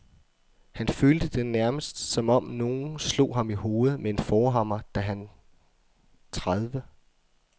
Han følte det nærmest, som om nogen slog ham i hovedet med en forhammer, da han tredive.